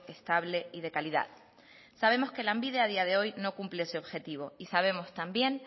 estable y de calidad sabemos que lanbide a día de hoy no cumple ese objetivo y sabemos también